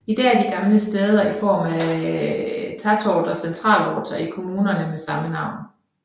I dag er de gamle stæder i form af tätorter centralorter i kommunerne med samme navn